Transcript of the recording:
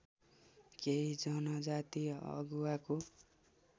केही जनजाति अगुवाको